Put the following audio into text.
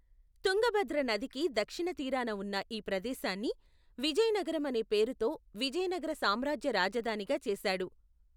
తుంగభద్ర నదికి దక్షిణ తీరాన ఉన్న ఈ ప్రదేశాన్ని, విజయనగరం అనే పేరు తో విజయనగర సామ్రాజ్య రాజధానిగా చేశాడు.